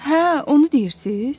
Hə, onu deyirsiz?